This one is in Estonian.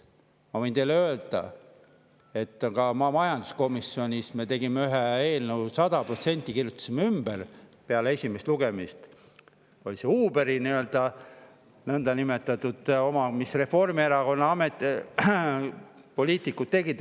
Ma võin teile öelda, et majanduskomisjonis me kirjutasime ühe eelnõu sada protsenti ümber peale esimest lugemist, see oli Uberi oma, mille tegid Reformierakonna poliitikud.